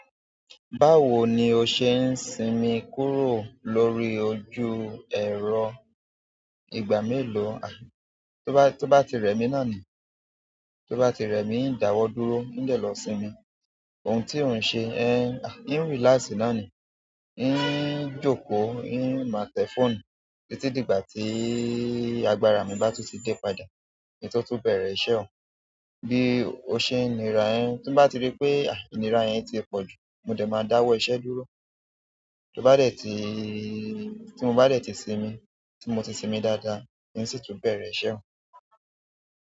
Báwo ni o ṣe ń sinmi kúrò lórí ojú ẹ̀rọ, ìgbà mélòó, ah tó bá, tó bá ti rẹ̀ mí náà ni. Tó bá ti rẹ̀ mí, ń dáwọ́ dúró, ń dẹ́ lọ sinmi. Ohun tí ò ń ṣe, ehn, ń relax náà ni, ń jókòó, ń maá tẹ fóònù, títí dìgbà tí agbára mi bá tún ti dé padà ki n tó tun bẹ̀rẹ̀ iṣẹ́ ò. Bí o ṣe ń nirà ẹ, tí n bá ti rí pé, ah, inira yẹn ti pọ̀ jù, mo dé máa dáwọ́ iṣẹ́ dúró. To bá dẹ̀ tí, tí mo bá dẹ̀ tí sinmi, tí mo ti sinmi dáadáa, n o sì tún bẹ̀rẹ̀ iṣẹ́ ò.